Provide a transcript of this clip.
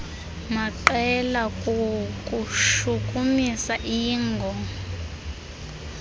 maqela kukushukumisa iingo